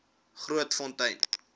grootfontein